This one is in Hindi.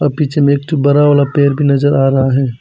पीछे में एक ठो बड़ा वाला पेड़ भी नजर आ रहा है।